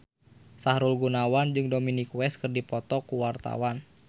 Sahrul Gunawan jeung Dominic West keur dipoto ku wartawan